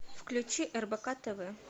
включи рбк тв